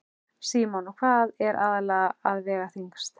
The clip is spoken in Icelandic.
Símon: Og hvað er aðallega að vega þyngst?